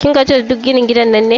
Kin gaji da duk ginin gidan nan ne?